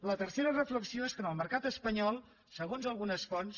la tercera reflexió és que en el mercat espanyol segons algunes fonts